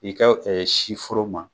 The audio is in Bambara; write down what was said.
I ka ɛɛ si foro ma